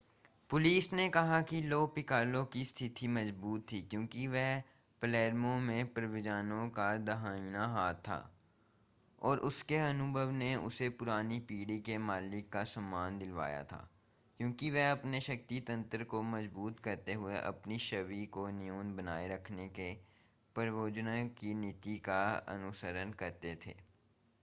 police ने कहा कि लो पिकालो की स्थिति मज़बूत थी क्योंकि वह पलेर्मो में प्रोवेनज़ानो का दाहिना हाथ था और उसके अनुभव ने उसे पुरानी पीढ़ी के मालिकों का सम्मान दिलवाया था क्योंकि वे अपने शक्ति तंत्र को मजबूत करते हुए अपनी छवि को न्यून बनाए रखने के प्रोवेनज़ानो की नीति का अनुसरण करते थे